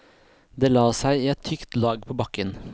Det la seg i et tykt lag på bakken.